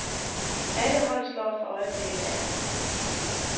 Alle hold slår for øjeblikket alle.